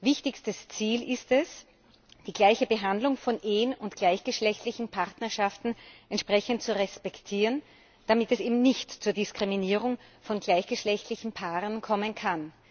Wichtigstes Ziel ist es, die gleiche Behandlung von Ehen und gleichgeschlechtlichen Partnerschaften entsprechend zu respektieren, damit es eben nicht zur Diskriminierung von gleichgeschlechtlichen Paaren kommen kann.